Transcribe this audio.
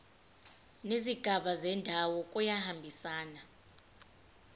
nezigaba zendaba kuyahambisana